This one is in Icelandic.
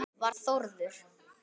Var Þórður